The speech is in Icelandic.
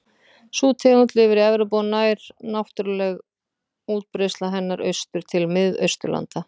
Sú tegund lifir í Evrópu og nær náttúruleg útbreiðsla hennar austur til Mið-Austurlanda.